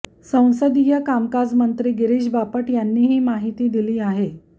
संसदीय कामकाज मंत्री गिरिश बापट यांनी ही माहिती दिली आहे